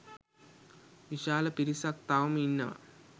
විශාල පිරිසක් තවම ඉන්නවා.